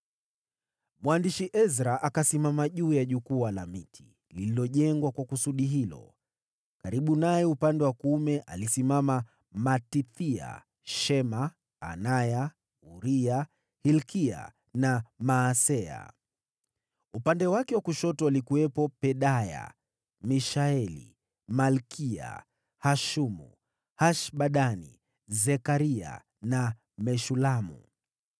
Mwandishi Ezra alikuwa amesimama juu ya jukwaa la miti lililojengwa kwa kusudi hilo. Karibu naye upande wa kuume alisimama Matithia, Shema, Anaya, Uria, Hilkia na Maaseya. Upande wake wa kushoto walikuwepo Pedaya, Mishaeli, Malkiya, Hashumu, Hashbadani, Zekaria na Meshulamu.